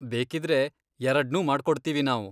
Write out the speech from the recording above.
ಬೇಕಿದ್ರೆ ಎರಡ್ನೂ ಮಾಡ್ಕೊಡ್ತೀವಿ ನಾವು.